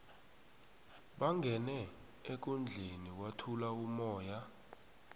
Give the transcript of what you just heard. bangene ekundleni kwathula umoya